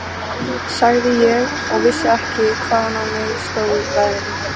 sagði ég og vissi ekki hvaðan á mig stóð veðrið.